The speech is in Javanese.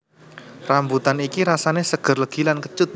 Rambutan iki rasané séger legi lan kécut